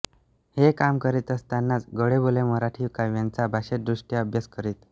हे काम करीत असतानाच गोडबोले मराठी काव्यांचा भाषादृष्ट्या अभ्यास करीत